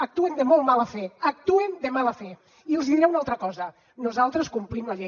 actuen de molt mala fe actuen de mala fe i els diré una altra cosa nosaltres complim la llei